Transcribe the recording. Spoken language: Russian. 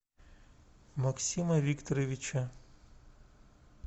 максима викторовича